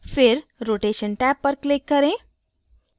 फिर rotation tab पर click करें